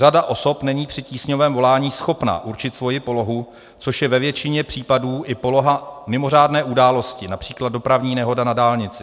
Řada osob není při tísňovém volání schopna určit svoji polohu, což je ve většině případů i poloha mimořádné události, například dopravní nehoda na dálnici.